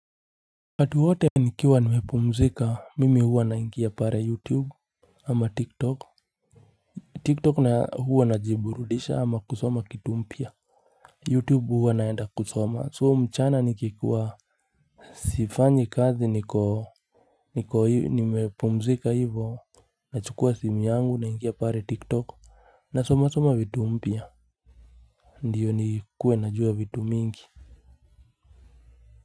Watu wote nikiwa nimepumzika mimi huwa naingia pare youtube ama tik tok tik tok huwa na jiburudisha ama kusoma kitumpia youtube huwa naenda kusoma soo mchana nikikuwa sifanyi kazi niko niko nimepumzika hivo na chukua simu yangu naingia pare tik tok na soma soma vitu mpia ndiyo nikuwe najua vitu mingi.